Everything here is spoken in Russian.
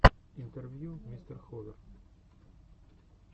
интервью мистер ховер